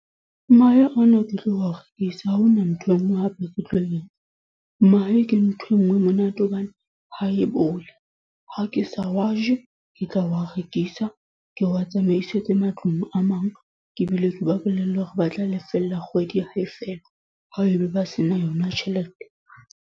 Mahe o na ke tlo wa rekisa. Ha hona ntho e nngwe hape ke tlo e etsa. Mahe ke ntho e nngwe e monate hobane, ha e bole. Ha ke sa wa je, ke tla wa rekisa. Ke wa tsamaisetse matlung a mang, ke bile ke ba bolelle hore ba tla lefella kgwedi hae fela. Ha ebe ba se na yona tjhelete.